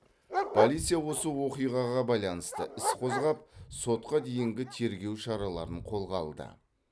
полиция осы оқиғаға байланысты іс қозғап сотқа дейінгі тергеу шараларын қолға алды